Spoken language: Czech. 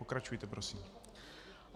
Pokračujte prosím.